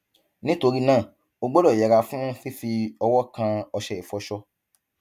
nítorí náà o gbọdọ yẹra fún fífi ọwọ kan ọṣẹ ìfọṣọ